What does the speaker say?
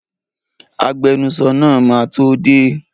Agbenusọ náà máa tó dé.